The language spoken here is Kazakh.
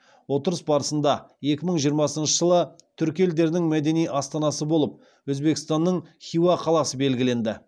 отырыс барысында екі мың жиырмасыншы жылы түркі елдерінің мәдени астанасы болып өзбекстанның хиуа қаласы белгіленді